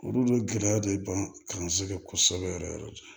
Olu bɛ gɛlɛya de ban kan se kosɛbɛ yɛrɛ yɛrɛ